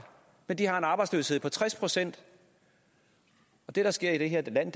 men at de har en arbejdsløshed på tres procent det der sker i det her land